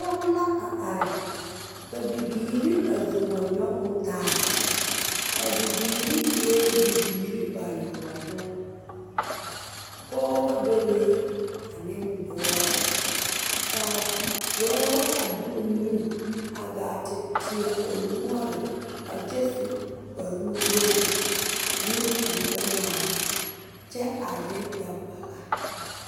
Poge la are ka bibiire a zo wa nyogoo taa a bibiire eɛɛ bibiire bayoɔbo pogebɔ bebe aneŋ dɔɔ kaa dɔɔ a de o nu a gaa te teɛ o noɔre a kyɛ su kpare nuwogre aneŋ kuri gbɛngmaara kyɛ are ne gbɛgbala.